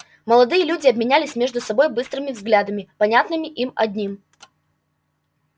молодые люди обменялись между собой быстрыми взглядами понятными им одним